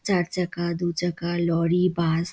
চারচাকা দু চাকা লরি বাস ।